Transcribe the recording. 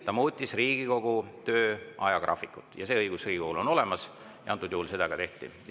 Ta muutis Riigikogu töö ajagraafikut, see õigus on Riigikogul olemas ja antud juhul seda ka tehti.